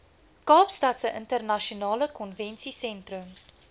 kaapstadse internasionale konvensiesentrum